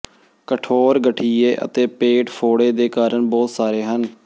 ਕਠੋਰ ਗਠੀਏ ਅਤੇ ਪੇਟ ਫੋੜੇ ਦੇ ਕਾਰਨ ਬਹੁਤ ਸਾਰੇ ਹਨ